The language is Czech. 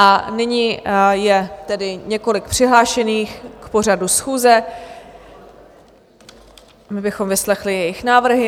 A nyní je tedy několik přihlášených k pořadu schůze, my bychom vyslechli jejich návrhy.